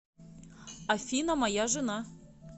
афина моя жена